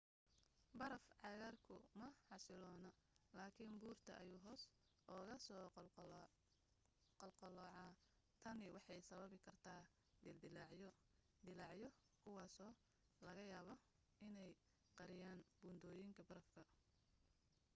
baraf-cagaarku ma xasiloona, laakin buurta ayuu hoos uga soo qulqula.tani waxay sababi kartaa dildilaacyo dillaacyo kuwaasoo laga yaabo inay qariyaan buundooyinka barafka